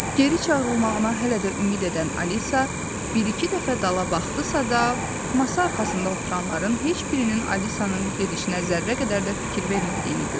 Geri çağırılmağına hələ də ümid edən Alisa bir-iki dəfə dala baxdısa da, masa arxasında oturanların heç birinin Alisanın gedişinə zərrə qədər də fikir vermədiyini gördü.